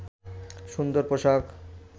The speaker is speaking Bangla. সুন্দর পোশাক